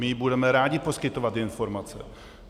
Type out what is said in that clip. My budeme rádi poskytovat informace.